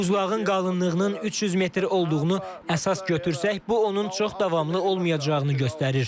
Buzlağın qalınlığının 300 metr olduğunu əsas götürsək, bu onun çox davamlı olmayacağını göstərir.